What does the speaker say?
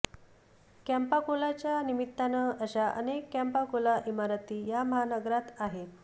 कॅम्पा कोलाच्या निमित्ताने अशा अनेक कॅम्पा कोला इमारती या महानगरात आहेत